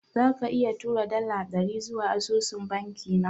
Zaka iya tura dala dari zuwa asusun banki na?